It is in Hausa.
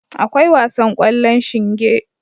Akwai wasan kwallon shinge.